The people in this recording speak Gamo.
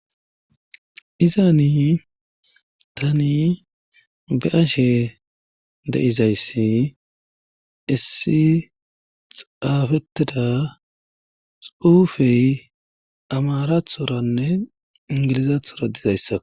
Iza ni tani be ashe deizayssi issi xaafettida suufey amarathoranne ingilizathora dizayssa.